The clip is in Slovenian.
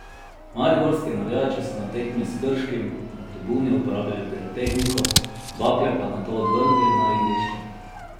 Mariborski navijači so na tekmi s Krškim na tribuni uporabili pirotehniko, bakle pa nato odvrgli na igrišče.